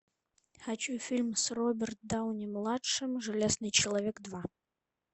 хочу фильм с робертом дауни младшим железный человек два